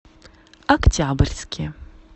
октябрьске